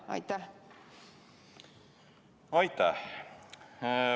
Aitäh!